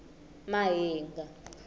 mahinga